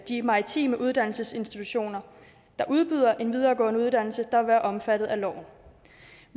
de maritime uddannelsesinstitutioner der udbyder en videregående uddannelse der vil være omfattet af loven